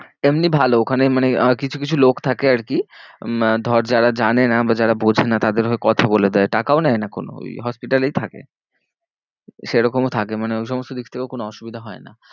এমনি ভালো ওখানে মানে আহ কিছু কিছু লোক থাকে আর কি আহ ধর যারা জানে না বা যারা বোঝে না তাদের হয়ে কথা বলে দেয় টাকাও নেয় না কোনো ওই hospital এই থাকে। সে রকমও থাকে মানে ওই সমস্ত দিক থেকেও কোন অসুবিধা হয় না।